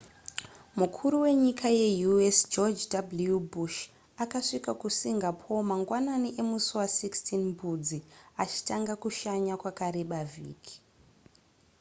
mukuru wenyika ye u.s george w. bush akasvika kusingapore mangwanani emusi wa16 mbudzi achitanga kushanya kwakareba vhiki